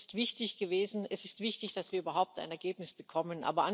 Es ist wichtig, dass wir überhaupt ein Ergebnis bekommen.